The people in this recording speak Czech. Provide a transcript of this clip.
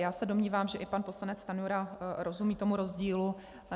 Já se domnívám, že i pan poslanec Stanjura rozumí tomu rozdílu.